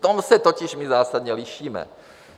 V tom se totiž my zásadně lišíme.